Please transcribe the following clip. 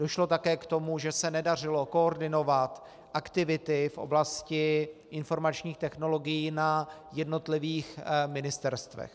Došlo také k tomu, že se nedařilo koordinovat aktivity v oblasti informačních technologií na jednotlivých ministerstvech.